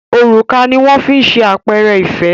òrùka ní wón fí ṣe àpẹrẹ ìfẹ